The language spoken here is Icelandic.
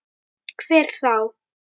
Hver þá?